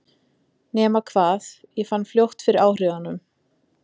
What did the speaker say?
Nema hvað, ég fann fljótt fyrir áhrifunum.